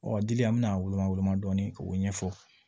Ɔ dili an bɛna a woloma woloma dɔɔnin k'o ɲɛfɔ